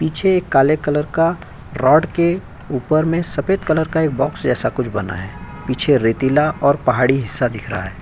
पीछे एक काले कलर का रॉड के ऊपर में सफेद कलर का एक बॉक्स जैसा कुछ बना है। पीछे रेतीला और पहाड़ी हिस्सा दिख रहा है।